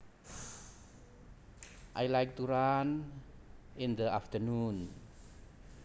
I like to run in the afternoon